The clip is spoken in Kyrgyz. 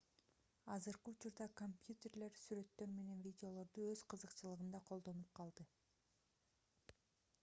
азыркы учурда компьютерлер сүрөттөр менен видеолорду өз кызыкчылыгында колдонуп калды